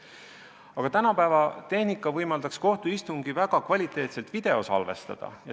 Aga tänapäeva tehnika võimaldaks kohtuistungid väga kvaliteetselt videosalvestada.